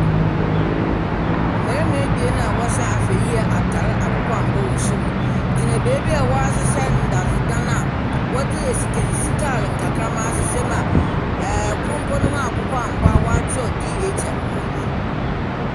Mmarima ebien a wɔhyɛ ahwɛyie atar akokɔ angua wɔ sor yi gyina beebi a wɔahyehɛ ndadze dan a wɔdze nsikasika nkakramma ahyehyɛ mu a kor mpo ne ho akokɔ angua wɔatwerɛ DHL wɔ ho.